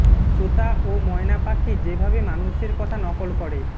তোতা ও ময়না পাখি যেভাবে মানুষের কথা নকল করে